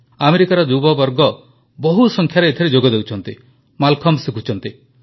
ଆମେରିକାର ଯୁବବର୍ଗ ବହୁ ସଂଖ୍ୟାରେ ଏଥିରେ ଯୋଗ ଦେଉଛନ୍ତି ମାଲଖମ୍ବ ଶିଖୁଛନ୍ତି